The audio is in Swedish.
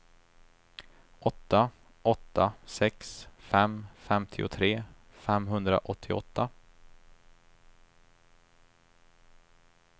åtta åtta sex fem femtiotre femhundraåttioåtta